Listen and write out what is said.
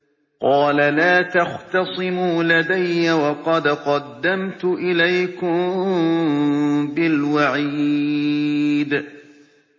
قَالَ لَا تَخْتَصِمُوا لَدَيَّ وَقَدْ قَدَّمْتُ إِلَيْكُم بِالْوَعِيدِ